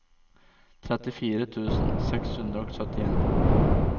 trettifire tusen seks hundre og syttien